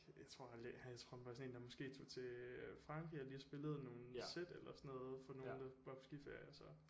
Jeg ved ikke jeg tror han jeg tror han bare er sådan en der måske tog til Frankrig og lige spillede nogle sæt eller sådan noget for nogen der var på skiferie og så